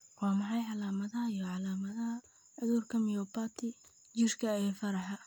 Waa maxay calaamadaha iyo calaamadaha cudurka myopathy jirka ee faraha?